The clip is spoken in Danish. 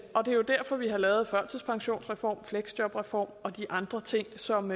er jo derfor vi har lavet førtidspensionsreformen fleksjobreformen og de andre ting som